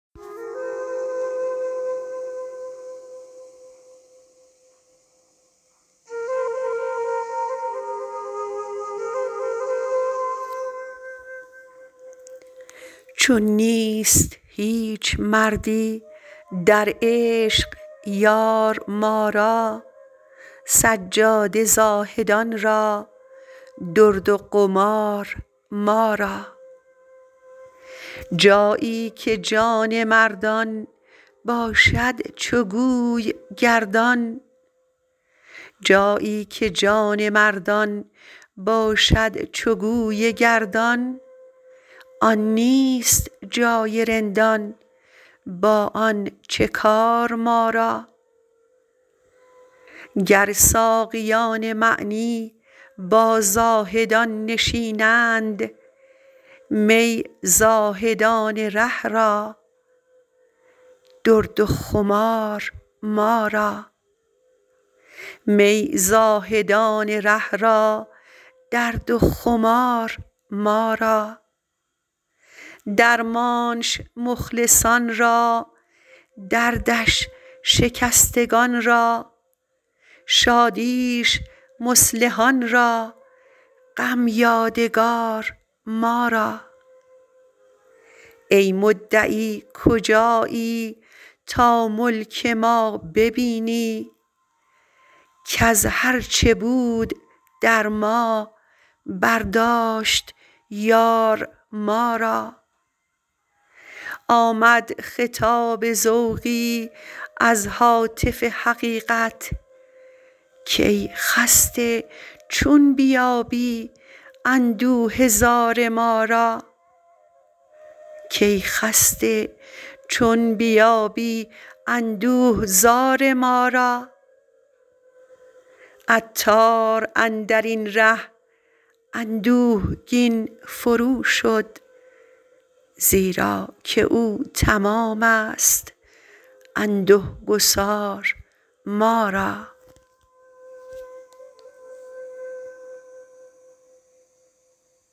چون نیست هیچ مردی در عشق یار ما را سجاده زاهدان را درد و قمار ما را جایی که جان مردان باشد —چو گوی— گردان آن نیست جای رندان با آن چه کار ما را گر ساقیان معنی با زاهدان نشینند می زاهدان ره را درد و خمار ما را درمانش مخلصان را دردش شکستگان را شادیش مصلحان را غم یادگار ما را ای مدعی کجایی تا ملک ما ببینی کز هرچه بود در ما برداشت —یار— ما را آمد خطاب ذوقی از هاتف حقیقت کای خسته چون بیابی اندوه زار ما را عطار اندرین ره اندوهگین فروشد زیراکه او —تمام است— انده گسار ما را